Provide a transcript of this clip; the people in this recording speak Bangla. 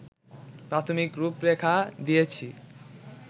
প্রাথমিক রূপরেখা দিয়েছি